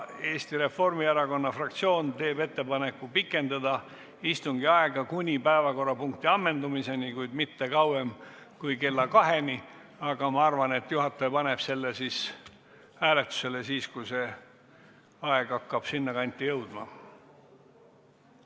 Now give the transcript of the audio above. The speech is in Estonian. Eesti Reformierakonna fraktsioon teeb ettepaneku pikendada istungi aega kuni päevakorrapunkti ammendumiseni, kuid mitte kauem kui kella kaheni, aga ma arvan, et juhataja paneb selle hääletusele siis, kui see aeg hakkab sinnakanti jõudma.